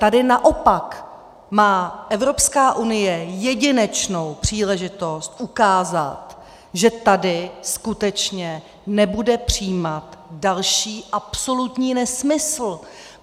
Tady naopak má Evropská unie jedinečnou příležitost ukázat, že tady skutečně nebude přijímat další absolutní nesmysl.